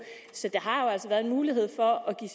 så der har altså været en mulighed for at give